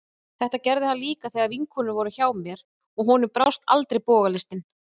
Þetta gerði hann líka þegar vinkonurnar voru hjá mér, og honum brást aldrei bogalistin.